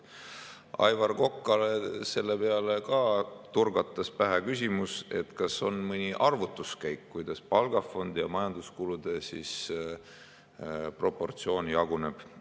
Aivar Kokale turgatas selle peale pähe küsimus, kas on mõni arvutuskäik, kuidas palgafondi ja majanduskulude proportsioon jaguneb.